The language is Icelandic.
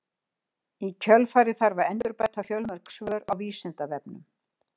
Í kjölfarið þarf að endurbæta fjölmörg svör á Vísindavefnum.